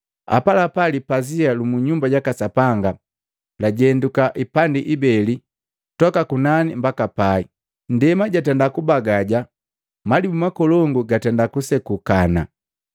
Apalapa lipazia lu mu Nyumba jaka Sapanga lajenduka ipandi ibeli, toka kunani mbaka pai, ndema jatenda kubagaja malibu makolongu gatenda kusekuka,